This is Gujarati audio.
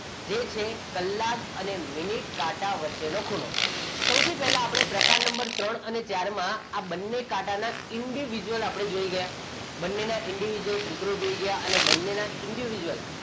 જે છે કલાક અને મિનિટ કાંટા વચ્ચે નો ખૂણો. સૌ પ્રથમ આપણે પ્રકાર નંબર ત્રણ અને ચારમાં બંને કાંટા ના individual આપણે જોઈ ગયા બંનેના individual સૂત્રો જોઈ ગયા અને બંનેના individual,